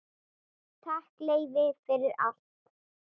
Takk, Leifi, fyrir allt.